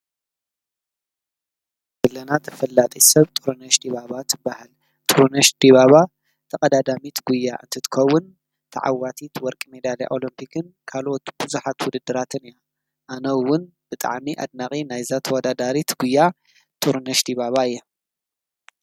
ብዓለማት ተፈላጢት ሰብ ጥሩነሽ ዲባባ ትባሃል፡፡ ጥሩነሽ ዲባባ ተቀዳዳሚት ጉያ እንትትከውን ተዓዋቲት ወርቂ መዳልያ አሎምፒክን ግን ካልኦት ቡዙሓት ውድድራትን እያ፡፡ ኣነ እውን ብጣዕሚ ኣድናቂ ናይ እዛ ተወዳዳሪት ጉያ ጥሩነሽ ዲባባ እየ፡፡